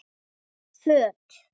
Föt